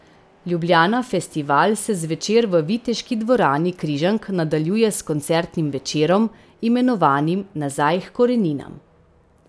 Ljubljana Festival se zvečer v Viteški dvorani Križank nadaljuje s koncertnim večerom, imenovanim Nazaj h koreninam.